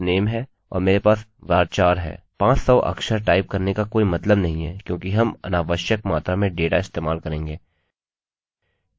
500 अक्षरकैरेक्टर्सटाइप करने का कोई मतलब नहीं है क्योंकि हम अनावश्यक मात्रा में डेटा इस्तेमाल करेंगे